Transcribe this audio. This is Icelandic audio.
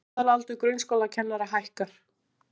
Meðalaldur grunnskólakennara hækkar